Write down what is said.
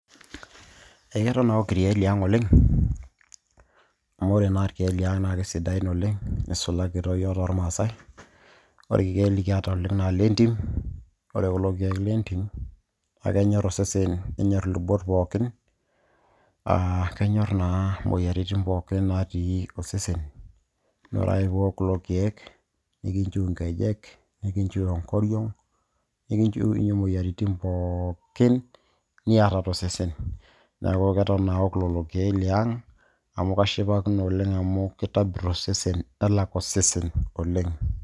Eketon aok irkeek liang' oleng',amu ore naa irkeek liang' na kesidain oleng' neisulaki toi yiok tormasai. Ore irkeek likiata oleng' na lentim. Ore kulo keek lentim na kenyor osesen nenyor ilubot pookin. Ah kenyor naa imoyiaritin pookin natii osesen. Na ore ake piiwok kulo keek, nikinchiu inkejek, nikinchiu enkoriong',nikinchiunye imoyiaritin pookin niata tosesen. Neeku keton aok lelo keek liang',amu kashipakino oleng' amu kitobirr osesen nelak osesen oleng'.